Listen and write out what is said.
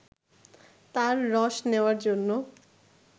তার রস নেওয়ার জন্য